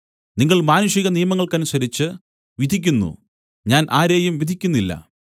നിങ്ങൾ മാനുഷിക നിയമങ്ങൾക്കനുസരിച്ച് വിധിക്കുന്നു ഞാൻ ആരെയും വിധിക്കുന്നില്ല